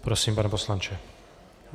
Prosím, pane poslanče.